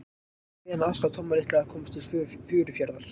Ég var beðinn að aðstoða Tomma litla að komast til Furufjarðar.